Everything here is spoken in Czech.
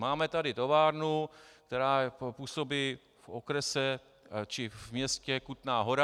Máme tu továrnu, která působí v okrese či v městě Kutná Hora.